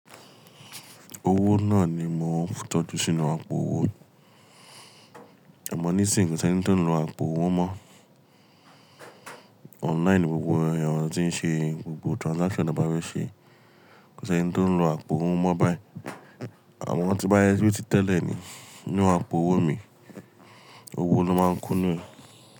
Owó náà ni mo ń tọ́jú sínú àpò owó. Amọ̀ ní sì ń kò sí ẹni tí ó ń lo àpò owó mọ́. Online gbogbo èèyàn tí ń ṣe gbogbo transaction tan bá fe ṣe, kò sí ẹni tí ó ń lo àpò owó mọ́ báyìí. Àmọ to bá jẹ bí ti tẹ́lẹ̀ ni, inu àpò owó mi. Owó ló máa ń kúnú ei.